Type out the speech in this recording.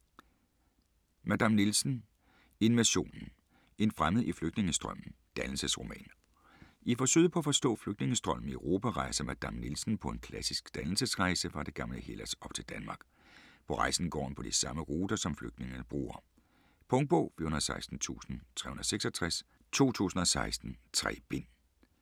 Madame Nielsen: Invasionen: en fremmed i flygtningestrømmen: dannelsesroman I forsøget på at forstå flygtningestrømmen i Europa rejser Madame Nielsen på en klassisk dannelsesrejse fra det gamle Hellas op til Danmark. På rejsen går han på de samme ruter, som flygtningene bruger. Punktbog 416366 2016. 3 bind.